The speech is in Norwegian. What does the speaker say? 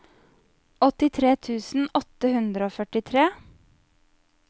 åttitre tusen åtte hundre og førtitre